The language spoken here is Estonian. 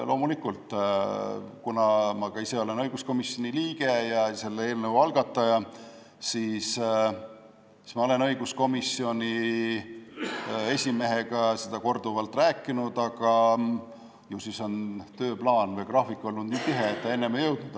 Loomulikult, kuna ma ka ise olen õiguskomisjoni liige ja selle eelnõu algataja, siis ma olen õiguskomisjoni esimehega sellest korduvalt rääkinud, aga ju siis on tööplaan või graafik olnud nii tihe, et varem ei jõudnud.